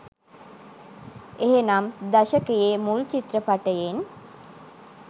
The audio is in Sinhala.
එහෙනම් දශකයේ මුල් චිත්‍රපටයෙන්